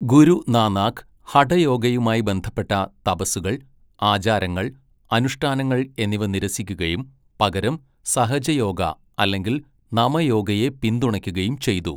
ഗുരു നാനാക്ക് ഹഠയോഗയുമായി ബന്ധപ്പെട്ട തപസ്സുകൾ, ആചാരങ്ങൾ, അനുഷ്ഠാനങ്ങൾ എന്നിവ നിരസിക്കുകയും പകരം സഹജ യോഗ അല്ലെങ്കിൽ നമ യോഗയെ പിന്തുണയ്ക്കുകയും ചെയ്തു.